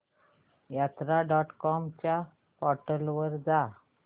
यात्रा dot com च्या portal वर जा